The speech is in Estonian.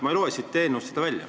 Ma ei loe siit eelnõust seda välja.